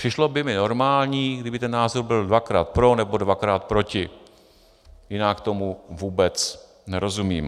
Přišlo by mi normální, kdyby ten názor byl dvakrát pro nebo dvakrát proti, jinak tomu vůbec nerozumím.